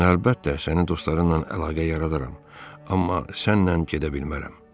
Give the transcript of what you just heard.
Mən əlbəttə sənin dostlarınla əlaqə yaradaram, amma sənlə gedə bilmərəm.